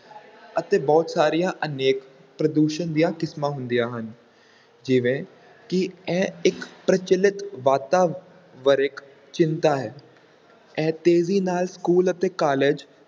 ਅਤੇ ਬਹੁਤ ਸਾਰੀਆਂ ਅਨੇਕ ਪ੍ਰਦੂਸ਼ਣ ਦੀਆਂ ਕਿਸਮਾਂ ਹੁੰਦੀਆਂ ਹਨ, ਜਿਵੇਂ ਕਿ ਇਹ ਇੱਕ ਪ੍ਰਚਲਿਤ ਵਾਤਾਵਰਿਕ ਚਿੰਤਾ ਹੈ ਇਹ ਤੇਜ਼ੀ ਨਾਲ school ਅਤੇ college